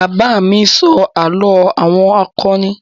Bàbá mi ló ń sọ àlọ́ àwọn akọni.